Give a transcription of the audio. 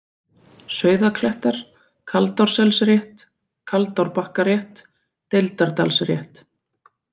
Sauðaklettar, Kaldárselsrétt, Kaldárbakkarétt, Deildardalsrétt